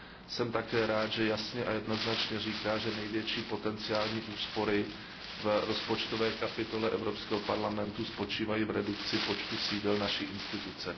Jsem také rád, že jasně a jednoznačně říká, že největší potenciální úspory v rozpočtové kapitole Evropského parlamentu spočívají v redukci počtu sídel naší instituce.